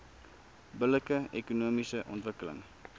billike ekonomiese ontwikkeling